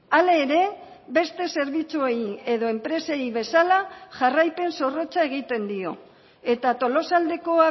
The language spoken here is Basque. hala ere beste zerbitzuei edo enpresei bezala jarraipen zorrotza egiten dio eta tolosaldeko